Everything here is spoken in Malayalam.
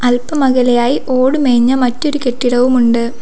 ഇവർക്കുമകലെയായി ഓടുമേഞ്ഞ മറ്റൊരു കെട്ടിടവും ഉണ്ട്.